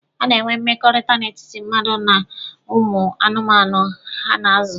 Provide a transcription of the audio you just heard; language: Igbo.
A na-enwe mmekọrịta n'etiti mmadụ na ụmụ anụmanụ ha na-azụ.